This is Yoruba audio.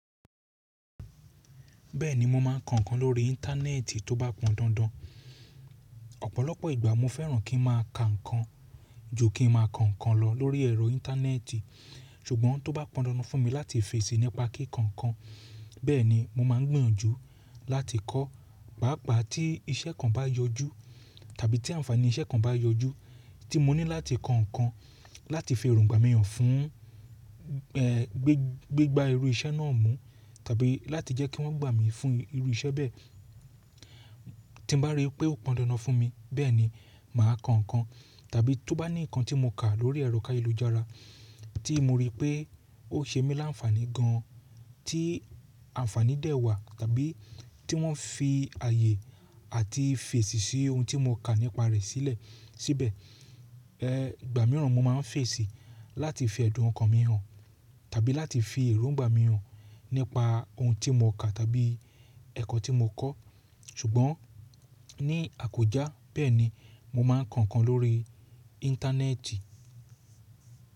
Bẹ́ẹ̀ni mo máa ń ko nnkan lórí íńtánẹ́ẹ́tì tó bá pọn dandan. Ọ̀pọ̀lọpọ̀ ìgbà mo fẹ́ràn kí n máa ka nǹkan, ju kí n máa ko nnkàn lọ lórí ẹ̀rọ íńtánẹ́ẹ́tì. Ṣugbọn tó bá pọn dandan fún mi láti fèsì nipa kíko nnkàn, bẹ́ẹ̀ni mo máa n gbìyànjú láti kọ́. Pàápàá tí iṣẹ́ kan bá yọjú tàbí tí àǹfààní iṣẹ́ kan bá yọjú tí mo ní láti ko nkàn láti fi èróngbà mi hàn fún, è, gbigbá irú iṣẹ́ náà mú tàbí láti jẹ́ kí wọ́n gbà mí fún irú iṣẹ́ bẹ́ẹ̀, tí mo bá rípé ó pọn dandan fún mi bẹ́ẹ̀ni màá ko nkàn. Tàbí tó bá ní nǹkan tí mo kà lórí ẹ̀rọ káyelujara tí mo rí pé ó ṣe mí lánfàánì gan-an, tí àǹfààní dẹ̀ wà tàbí tí wọ́n fi ààyè àti fèsì sí ohun tí mo kà nípa rẹ̀ sílẹ̀ síbẹ̀. È, ìgbà mìíràn mo máa ń fèsì láti fẹ̀dùn ọkàn mi hàn tàbí láti fi èróngbà mi hàn nípa ohun tí mo kà tàbí ẹ̀kọ́ tí mo kọ́. Ṣugbọn ní àkójá bẹ́ẹ̀ni mo máa ń kàn kàn lórí íńtánẹ́ẹ́tì.